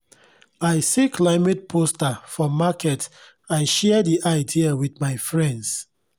i see climate poster for market i share di idea with my friends